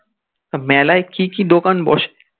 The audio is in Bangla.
মেলায় কি কি দোকান বসে